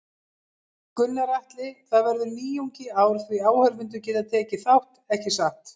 Gunnar Atli: Það verður nýjung í ár því áhorfendur geta tekið þátt, ekki satt?